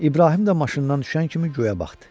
İbrahim də maşından düşən kimi göyə baxdı.